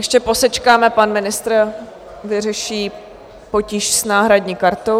Ještě posečkáme, pan ministr vyřeší potíž s náhradní kartou.